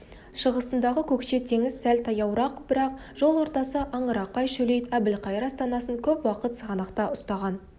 шығысындағы көкше теңіз сәл таяуырақ бірақ жол ортасы аңырақай шөлейт әбілқайыр астанасын көп уақыт сығанақта ұстаған